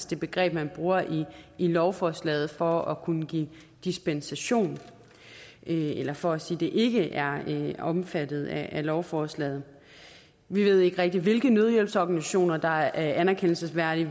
det begreb man bruger i lovforslaget for at kunne give dispensation eller for at sige at det ikke er omfattet af lovforslaget vi ved ikke rigtig hvilke nødhjælpsorganisationer der er anerkendelsesværdige